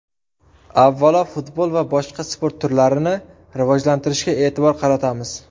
Avvalo futbol va boshqa sport turlarini rivojlantirishga e’tibor qaratamiz.